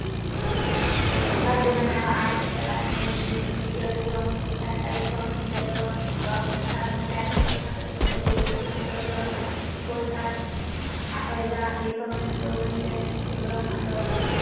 ኣብ ዘበናዊ ዓለም ሰባት ናይ ዝምገብዎም ምግብታት ፅሬቶምን ዘለዎም ትህዝትኦምን ካብ ምፍላጥ ብተወሳኺ ዝምገብሎም ቦታታት ኣትሓሕዛ ቤቶምን እውን ደስ ክብሎም ኣለዎ።